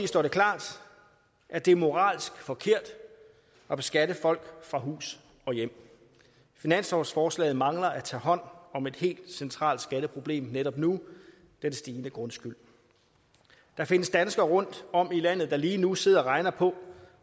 står det klart at det er moralsk forkert at beskatte folk fra hus og hjem finanslovsforslaget mangler at tage hånd om et helt centralt skatteproblem netop nu den stigende grundskyld der findes danskere rundtom i landet der lige nu sidder og regner på